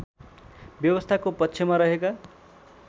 व्यवस्थाको पक्षमा रहेका